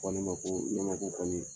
Fɔ ne ma ko ɲamaku kɔni